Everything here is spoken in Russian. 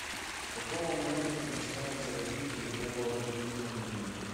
с какого момента начинается развитие любого организма на земле